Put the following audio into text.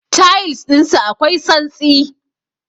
Tayils ɗinsu akwai santsi.